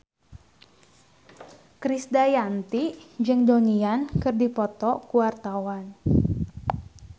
Krisdayanti jeung Donnie Yan keur dipoto ku wartawan